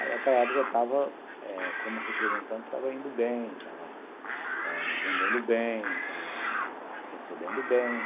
Aí, naquela época, eu estava, como representante, estava indo bem, estava vendendo eh bem, estava recebendo bem.